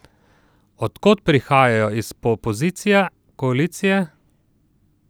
Od kod prihajajo, iz opozicije, koalicije?